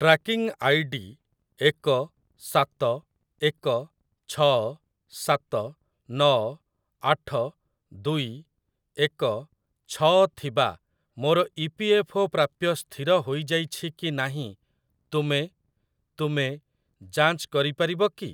Tracking ID ଏକ ସାତ ଏକ ଛଅ ସାତ ନଅ ଆଠ ଦୁଇ ଏକ ଛଅ ଥିବା ମୋର ଇପିଏଫ୍ଓ ପ୍ରାପ୍ୟ ସ୍ଥିର ହୋଇଯାଇଛି କି ନାହିଁ ତୁମେ ତୁମେ ଯାଞ୍ଚ କରିପାରିବ କି?